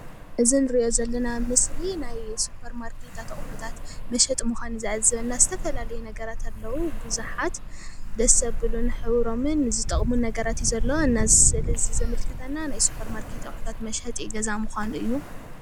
እዚ ንሪኦ ዘለና ምስሊ ናይ ሱፐር ማርኬታት አቁሑታት መሸጢ ምካኑ እዩ ዘዕዝበና ዝተፈላለዩ ነገራተ አለው ብዛሓት ደስ ዘብሉ ሕብሮምን ዝጠቅሙ ነገራት እዩ ዘሎ ነዚ ስእሊ እዚ ዘምልክትና ናየ ሱፐር ማርኬት አቁሑ መሸጢ ገዛ ምዃኑ እዩ፡፡